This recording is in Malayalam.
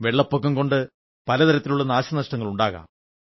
വെള്ളപ്പൊക്കം കൊണ്ട് പല തരത്തിലുള്ള നാശനഷ്ടങ്ങളുണ്ടാകും